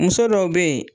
Muso dɔw be yen